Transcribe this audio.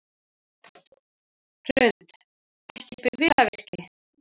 Hrund: Ekki bifvélavirki?